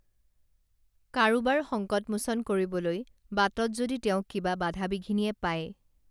কাৰোবাৰ সংকটমোচন কৰিবলৈ বাটত যদি তেওঁক কিবা বাধা বিঘিনিয়ে পায়